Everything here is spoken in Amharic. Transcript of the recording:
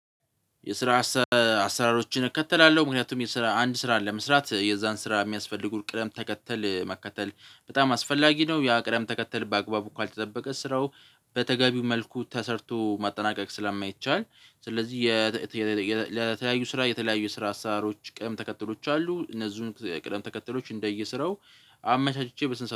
የስራ አሰራሮችን እከተላለሁ ምክንያቱም የስራ አንድ ስራ ለመስራት የዛን ስራ የሚያስፈልጉን ቅደም ተከተል መከተል በጣም አስፈላጊ ነው የአቅረብ ተከተል በአግባቡ ካልተጠበቀ ስራው በተገቢው መልኩ ተሰርቶ ማጠናቀቅ ስለማይቻል። ስለዚህ ለተለያዩ ስራ የተለያዩ ስራ ሀሳቦች ቅም ተከትሎች አሉ እነዚህን ቅደም ተከተሎች እንደየስረው አመቻችቼ በስንት